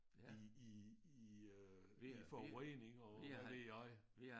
I i i øh i forurening og hvad ved jeg